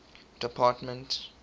department